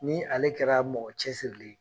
Ni ale kɛra mɔgɔ cɛsirilen ye